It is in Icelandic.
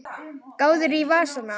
Gáðirðu í vasana?